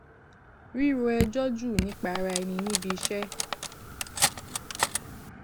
ríro ẹjọ jù nípa ara ẹni níbi iṣẹ